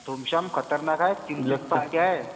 धुमशान खतरनाक आहे. तीन जन पार्ट्या आहेत.